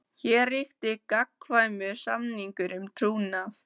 Hér ríkti gagnkvæmur samningur um trúnað.